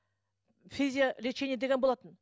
физио лечение деген болатын